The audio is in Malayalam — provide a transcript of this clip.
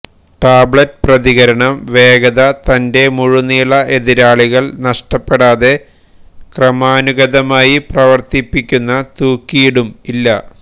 ടാബ്ലെറ്റ് പ്രതികരണം വേഗത തന്റെ മുഴുനീള എതിരാളികൾ നഷ്ടപ്പെടാതെ ക്രമാനുഗതമായി പ്രവർത്തിപ്പിക്കുന്ന തൂക്കിയിടും ഇല്ല